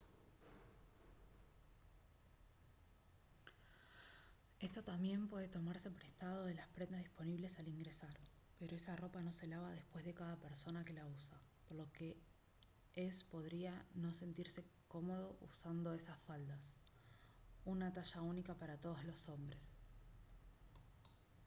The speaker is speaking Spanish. esto también puede tomarse prestado de las prendas disponibles al ingresar pero esa ropa no se lava después de cada persona que la usa por lo que es podría no sentirse cómodo usando estas faldas. ¡una talla única para todos los hombres!